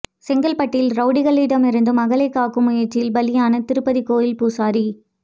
செங்கல்பட்டில் ரவுடிகளிடம் இருந்து மகளைக் காக்கும் முயற்சியில் பலியான திருப்பதி கோவில் பூசாரி